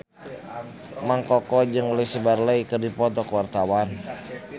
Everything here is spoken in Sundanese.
Mang Koko jeung Louise Brealey keur dipoto ku wartawan